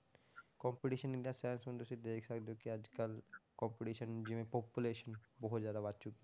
Competition in the sense ਤੁਸੀਂ ਦੇਖ ਸਕਦੇ ਹੋ ਕਿ ਅੱਜ ਕੱਲ੍ਹ competition ਜਿਵੇਂ population ਬਹੁਤ ਜ਼ਿਆਦਾ ਵੱਧ ਚੁੱਕੀ,